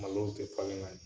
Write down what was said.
Malow tɛ falen ka ɲɛ